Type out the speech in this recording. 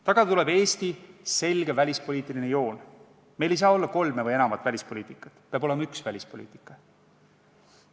Tagada tuleb Eesti selge välispoliitiline joon, meil ei saa olla kolme või enamat välispoliitikat, peab olema üks välispoliitika.